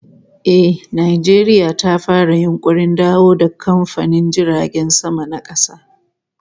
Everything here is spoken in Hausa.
Eh, Najeriya ta fara yunkurin dawo da kamfanin jiragen sama na kasa